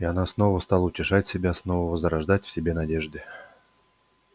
и она снова стала утешать себя снова возрождать в себе надежды